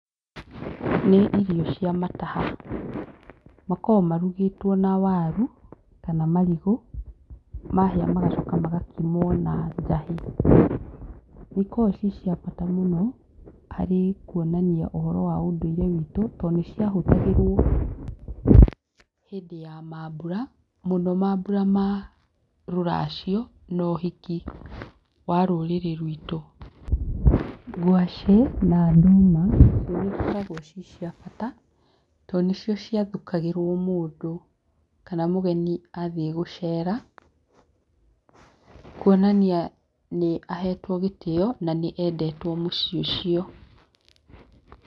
Nĩ irio cia mataha, makoragwo marugĩtwo na waru kana marigũ, mahĩa magacoka magakimwo na njahĩ, nĩ ikoragwo ciĩ cia bata mũno harĩ kwonania ũndũire witũ tondũ nĩ cia hũthagĩrwo hĩndĩ ya mambura mũno mambura ma rũracio no ũhiki wa rũrĩrĩ ruitũ, ngwacĩ na ndũma nĩ cikoragwo ciĩ cia bata tondũ nĩ cio cia thukagĩrgwo mũndũ kana mũgeni athiĩ gũcera kwonania nĩ ahetwo gĩtĩo na nĩ endetwo mũciĩ ũcio.